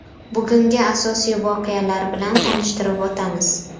Bugungi asosiy voqealar bilan tanishtirib o‘tamiz.